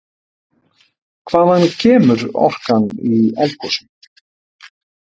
Hvaðan kemur orkan í eldgosum?